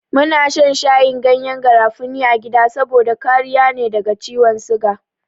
Muna shan shayin gyanyen garafuni a gida saboda kariya ne daga ciwon siga.